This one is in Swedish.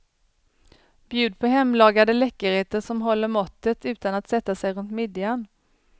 Bjud på hemlagade läckerheter som håller måttet utan att sätta sig runt midjan.